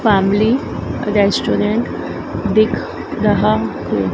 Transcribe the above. Family restaurant दिख रहा है।